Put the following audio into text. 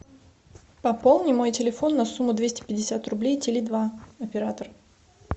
пополни мой телефон на сумму двести пятьдесят рублей теле два оператор